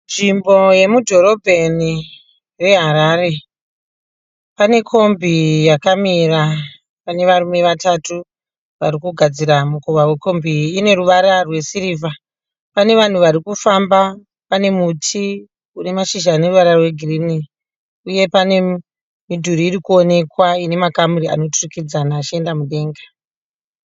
Nzvimbo yemudhorobheni reHarare. Panekombi yakamira pane varume vatatu varikugadzira mukova wekombi ine ruvara rwe sirivha. Pane vanhu varikufamba, panemuti unemazhizha aneruvara rwegirini uye panemidhuri irikuonekwa inemakamuri anoturikidzana achienda mudenga.